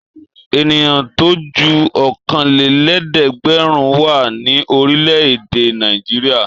Ènìyàn tó ju ọ̀kanlélẹ́ẹ̀dẹ́gbẹ̀rún wà ní orílẹ̀-èdè Nàìjíríà.